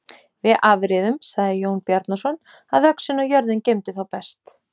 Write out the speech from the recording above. Við afréðum, sagði Jón Bjarnason,-að öxin og jörðin geymdu þá best.